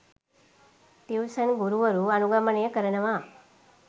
tuition ගුරුවරු අනුගමනය කරනවා..